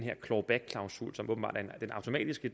automatiske